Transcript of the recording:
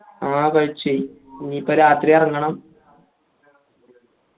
ആ കഴിച്ച് ഇനീപ്പോ രാത്രി എറങ്ങണം